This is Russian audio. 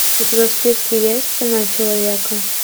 у тебя в списке есть цена человека